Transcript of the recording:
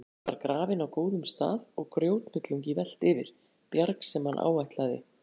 Bensíndunkurinn var grafinn á góðum stað og grjóthnullungi velt yfir, bjarg sem hann áætlaði